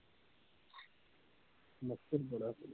ਮੱਛਰ ਬੜਾ ਸੀ